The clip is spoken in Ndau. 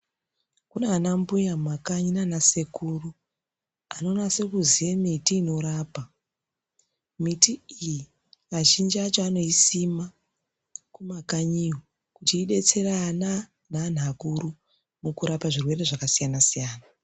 Kune ana mbuya mumakanyi nana sekuru anonase kuziya miti inorapa , miti iyi azhinji acho anoisima kumakanyi iyo kuti idetsere ana nevanhu akuru mukurapa zvirwere zvakasiyana siyana.